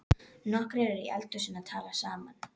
Nokkrir eru í eldhúsinu að tala saman.